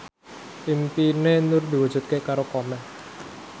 impine Nur diwujudke karo Komeng